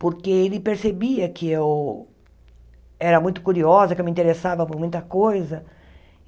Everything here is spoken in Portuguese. porque ele percebia que eu era muito curiosa, que eu me interessava por muita coisa.